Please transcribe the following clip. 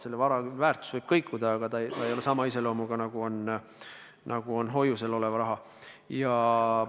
Selle vara väärtus võib kõikuda, aga see ei ole sama iseloomuga, nagu on hoiusel olev raha.